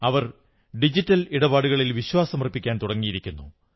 അവർ digital ഇടപാടുകളിൽ വിശ്വാസമർപ്പിക്കാൻ തുടങ്ങിയിരിക്കുന്നു